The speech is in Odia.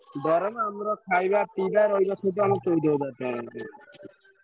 ଦରମା ଆମର ଖଇବା, ପିଇବା, ରହିବା ସବୁ ଚଉଦ ହଜାର ଟଙ୍କା।